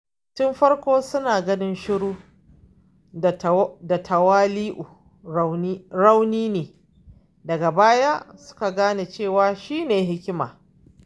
Tun farko suna ganin shiru da tawali’u rauni ne, daga baya suka gane cewa shine hikima.